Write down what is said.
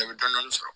Bɛɛ bɛ dɔni sɔrɔ